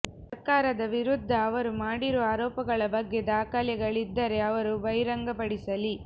ಸರ್ಕಾರದ ವಿರುದ್ದ ಅವರು ಮಾಡಿರುವ ಆರೋಪಗಳ ಬಗ್ಗೆ ದಾಖಲೆಗಳಿದ್ದರೆ ಅವರು ಬಹಿರಂಗಪಡಿಸಲಿ